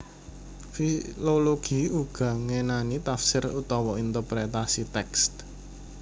Filologi uga ngenani tafsir utawa interpretasi tèks